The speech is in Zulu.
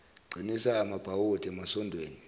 qinisa amabhawodi emasondweni